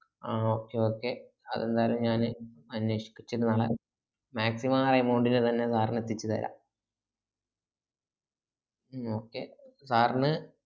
ആഹ് okay okay അതെന്തായാലും ഞാന് അനേഷിച്ചിട്ട് നാളെ maximum ആ amount ന് തന്നെ sir ന് എത്തിച് താരാ ഉം okay sir ന്